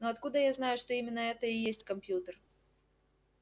но откуда я знаю что именно это и есть компьютер